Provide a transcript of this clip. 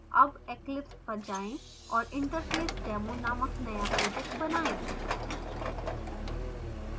अब eclipse पर जाएँ और interfacedemo नामक now project बनाएँ